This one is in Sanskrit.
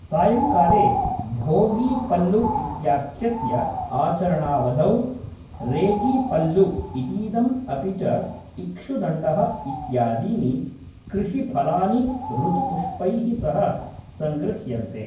सायङ्काले, भोगी पल्लु इत्याख्यस्य आचरणावधौ, रेगी पल्लु इतीदम् अपि च इक्षुदण्डः इत्यादीनि कृषिफलानि ऋतुपुष्पैः सह सङ्गृह्यन्ते।